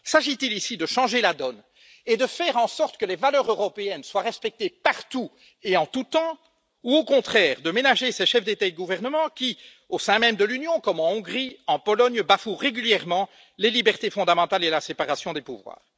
S'agit il ici de changer la donne et de faire en sorte que les valeurs européennes soient respectées partout et en tout temps ou, au contraire, de ménager ces chefs d'État et de gouvernement qui, au sein même de l'Union, comme en Hongrie et en Pologne, bafouent régulièrement les libertés fondamentales et la séparation des pouvoirs?